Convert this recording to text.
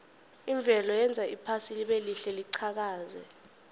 imvelo yenza iphasi libelihle liqhakaze